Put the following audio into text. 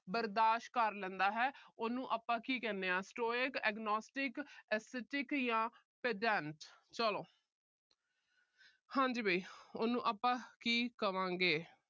ਬਰਦਾਸ਼ ਕਰ ਲੈਂਦਾ ਹੈ। ਉਹਨੂੰ ਆਪਾ ਕੀ ਕਹਿੰਦੇ ਆ stoic agnostic aesthetic ਜਾਂ pedant ਚਲੋ। ਹਾਂਜੀ ਵੀ ਉਹਨੂੰ ਆਪਾ ਕੀ ਕਹਾਂਗੇ।